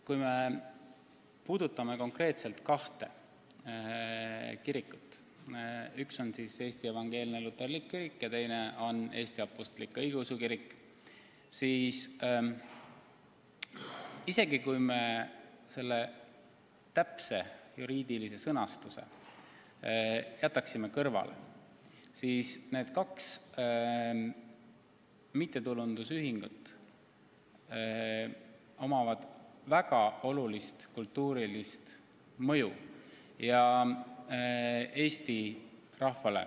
Kui me peame silmas konkreetselt kahte kirikut – üks on Eesti Evangeelne Luterlik Kirik ja teine on Eesti Apostlik-Õigeusu Kirik –, siis kui me täpse juriidilise sõnastuse kõrvale jätame, siis tuleb tunnistada, et nendel kahel kirikul on Eestis rahvale pikka aega olnud väga suur kultuuriline mõju.